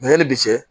Mɛ yanni bi cɛ